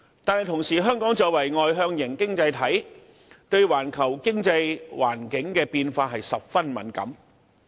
但是，香港作為外向型經濟體，對環球經濟環境的變化十分敏感。